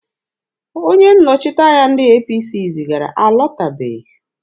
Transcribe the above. Onye nnọchiteanya ndị APC zigara alọtabeghị.